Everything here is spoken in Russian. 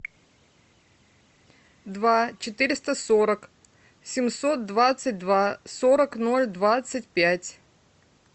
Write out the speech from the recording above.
два четыреста сорок семьсот двадцать два сорок ноль двадцать пять